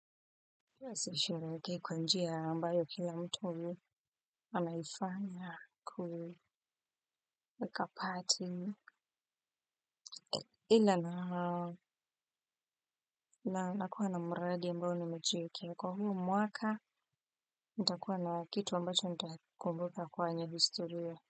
Asishiriki kwa njia ambayo kila mtu anaifanya kueka party ila na nakuwa na mradi ambao nimajiekea kwa huu mwaka nitakuwa na kitu ambacho nitakumbuka kwenye historia.